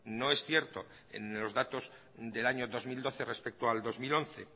no es cierto en los datos del año dos mil doce respecto al dos mil once